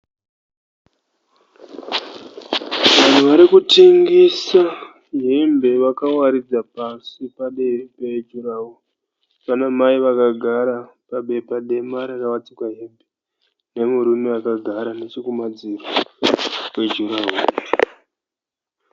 Vanhu varikutengesa hembe vakawaridza pasi pamberi pejuraworo. Pana mai vakagara pabepa dema rakawaridzirwa hembe nemurume akagara nechekumadziro kwejuraworo.